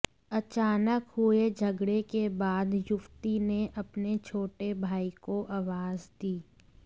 अचानक हुए झगड़े के बाद युवती ने अपने छोटे भाई को आवाज दी